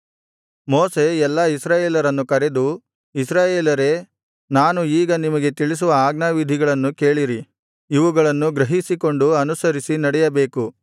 ಮೋಶೆ ಎಲ್ಲಾ ಇಸ್ರಾಯೇಲರನ್ನು ಕರೆದು ಇಸ್ರಾಯೇಲರೇ ನಾನು ಈಗ ನಿಮಗೆ ತಿಳಿಸುವ ಆಜ್ಞಾವಿಧಿಗಳನ್ನು ಕೇಳಿರಿ ಇವುಗಳನ್ನು ಗ್ರಹಿಸಿಕೊಂಡು ಅನುಸರಿಸಿ ನಡೆಯಬೇಕು